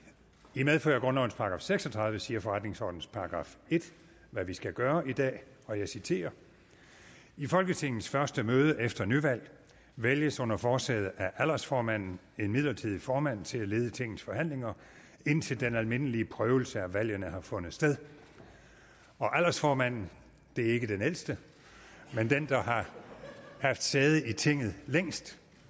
i medfør af grundlovens § seks og tredive siger forretningsordenens § en hvad vi skal gøre i dag og jeg citerer i folketingets første møde efter nyvalg vælges under forsæde af aldersformanden en midlertidig formand til at lede tingets forhandlinger indtil den almindelige prøvelse af valgene har fundet sted og aldersformanden det er ikke den ældste men den der har haft sæde i tinget længst